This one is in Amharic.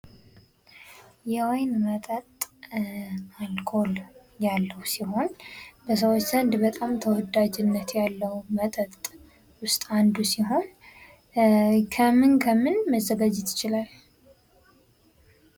የወይን መጠጥ አልኮል ያለዉ ሲሆን በሰዎች ዘንድ በጣም ተወዳጅነት ያለዉ መጠጥ ዉስጥ አንዱ ሲሆን ከምን ከምን መዘጋጀት ይችላል?